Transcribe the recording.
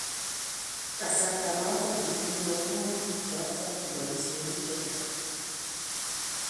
kasarta noto kitinye homoniik choto boisyonik chechaang